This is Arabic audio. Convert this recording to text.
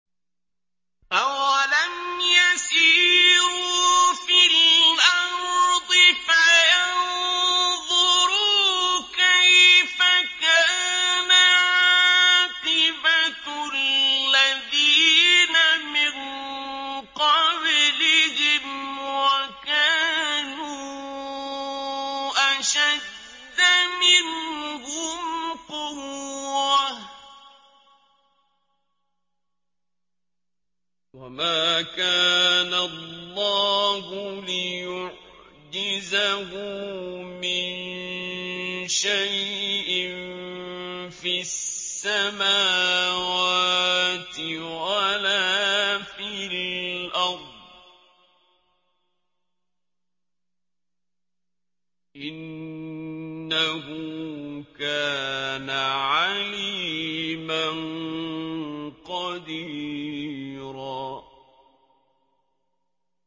أَوَلَمْ يَسِيرُوا فِي الْأَرْضِ فَيَنظُرُوا كَيْفَ كَانَ عَاقِبَةُ الَّذِينَ مِن قَبْلِهِمْ وَكَانُوا أَشَدَّ مِنْهُمْ قُوَّةً ۚ وَمَا كَانَ اللَّهُ لِيُعْجِزَهُ مِن شَيْءٍ فِي السَّمَاوَاتِ وَلَا فِي الْأَرْضِ ۚ إِنَّهُ كَانَ عَلِيمًا قَدِيرًا